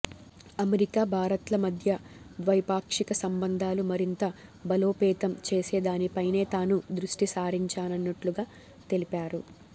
America భారత్ల మధ్య ద్వైపాక్షిక సంబంధాలు మరింత బలోపేతం చేసేదానిపైనే తాను దృష్టిసారించనున్నట్లు తెలిపారు